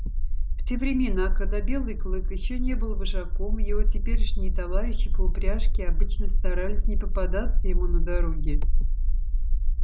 в те времена когда белый клык ещё не был вожаком его теперешние товарищи по упряжке обычно старались не попадаться ему на дороге